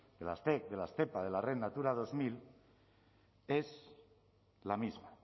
de las zec de las zepa de la red natura dos mil es la misma